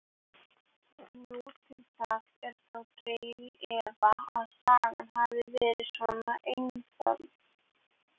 Nú til dags er þó dregið í efa að sagan hafi verið svo einföld.